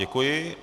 Děkuji.